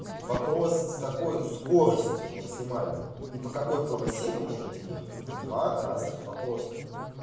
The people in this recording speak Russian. вопрос с какой скоростью максимальной и по какой полосе вы можете ехать это два разных вопроса